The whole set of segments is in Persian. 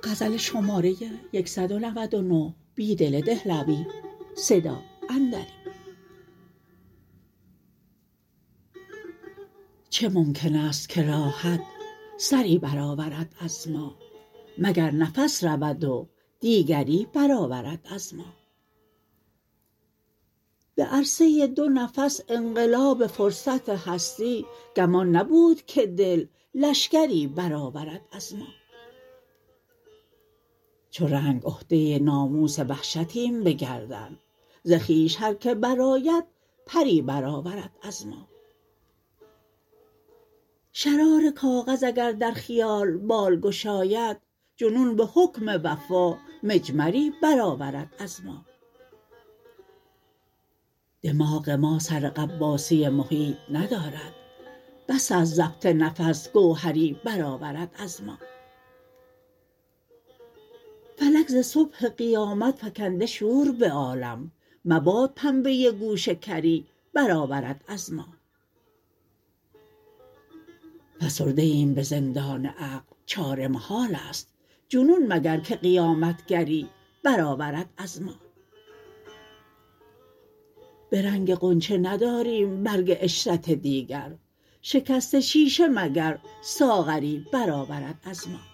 چه ممکن است که راحت سری برآورد از ما مگر نفس رود و دیگری برآورد از ما به عرصه دو نفس انقلاب فرصت هستی گمان نبود که دل لشکری برآورد از ما چو رنگ عهده ناموس وحشتیم به گردن ز خویش هرکه برآید پری برآورد از ما شرار کاغذ اگر در خیال بال گشاید جنون به حکم وفا مجمری برآورد از ما دماغ ما سر غواصی محیط ندارد بس است ضبط نفس گوهری برآورد از ما فلک ز صبح قیامت فکنده شور به عالم مباد پنبه گوش کری برآورد از ما فسرده ایم به زندان عقل چاره محال است جنون مگر که قیامت گری برآورد از ما به رنگ غنچه نداریم برگ عشرت دیگر شکست شیشه مگر ساغری برآورد از ما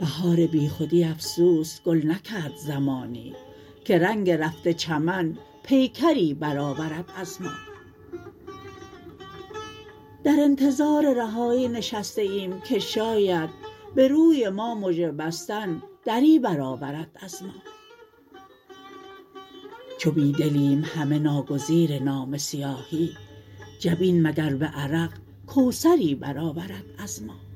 بهار بیخودی افسوس گل نکرد زمانی که رنگ رفته چمن پیکری برآورد از ما در انتظار رهایی نشسته ایم که شاید به روی ما مژه بستن دری برآورد از ما چو بیدلیم همه ناگزیر نامه سیاهی جبین مگر به عرق کوثری برآورد از ما